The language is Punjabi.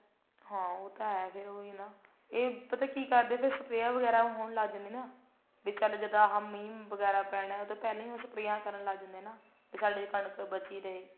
ਹਾਂ ਉਹ ਤਾਂ ਹੈ ਫੇਰ ਉਹੀ ਨਾ ਇਹ ਪਤਾ ਕਿ ਕਰਦੇ ਸਪਰੇਆਂ ਵਗੈਰਾ ਹੋਣ ਲੱਗ ਜਾਂਦੀਆਂ ਨਾ ਵੀ ਚੱਲ ਜਦ ਆਹ ਮੀਂਹ ਵਗੈਰਾ ਪੈਣਾ ਉਹਤੋਂ ਪਹਿਲਾਂ ਹੀ ਉਹ ਸਪਰੇਆਂ ਕਰਨ ਲੱਗ ਜਾਂਦੇ ਨੇ ਨਾ ਵੀ ਸਾਡੀ ਕਣਕ ਬਚੀ ਰਹੇ